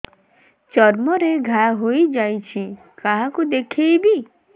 ଚର୍ମ ରେ ଘା ହୋଇଯାଇଛି କାହାକୁ ଦେଖେଇବି